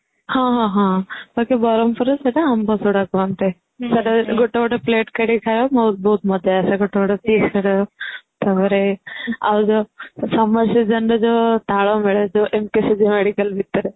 ହଁ ହଁ ହଁ ବାକି ବରମପୁର ରେ ସେଇଠାକୁ ଆମ୍ବ ସୋଢା କହନ୍ତି ଗିତେ ଗିତେ plate କାଢି ଖାଇବା ବହୁତ ମଜା ଆସେ ଗିତେ ଗିତେ taste କରିବ ତାପରେ ଆଉ ଯୋଉ summer season ରେ ଯୋଉ ତାଳ mile medical ଭିତରେ